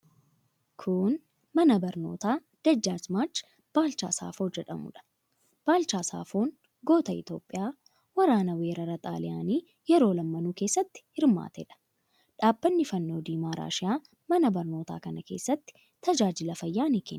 Kun, mana barnootaa Dajjaazmaach Baalchaa Saafoo jedhamuu dha. Baalchaa Saafoon goota Itoophiyaa waraana weerara xaaliyaanii yeroo lamaanuu keessatti hirmaate dha. Dhaabbanni fannoo diimaa raashiyaa mana barnootaa kana keessatti tajaajila fayyaa ni kenna.